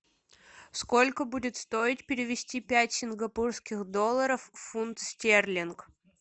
сколько будет стоить перевести пять сингапурских долларов в фунт стерлинг